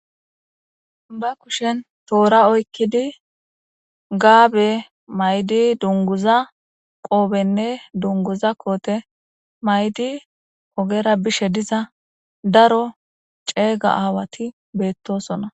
Ba kushen toora oykkidi gaabe maydi dunguza qoobenne dunguza koote maydi ogera bishe diza daro ceega aawati beettosona.